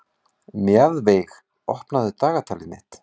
Mjaðveig, opnaðu dagatalið mitt.